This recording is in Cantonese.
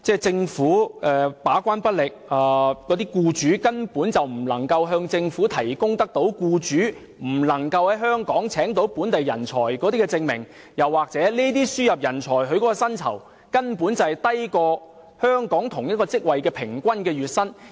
政府把關不力，而僱主根本無法向政府提供未能在香港聘請本地人才的證明，又或是輸入人才的薪酬，根本低於香港同一職位的平均月薪。